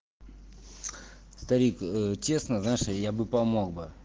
старик ээ честно знаешь я бы помог бы